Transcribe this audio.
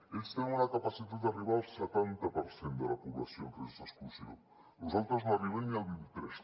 ells tenen una capacitat d’arribar al setanta per cent de la població en risc d’exclusió nosaltres no arribem ni al vint i tres